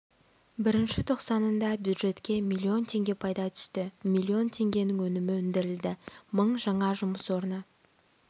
бірінші тоқсанында бюджетке миллион теңге пайда түсті миллион теңгенің өнімі өндірілді мың жаңа жұмыс орны